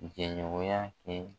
Jɛɲɔgɔnya kɛ